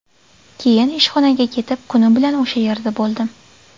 Keyin ishxonaga ketib, kuni bilan o‘sha yerda bo‘ldim.